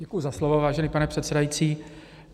Děkuji za slovo, vážený pane předsedající.